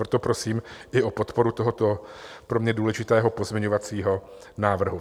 Proto prosím i o podporu tohoto pro mě důležitého pozměňovacího návrhu.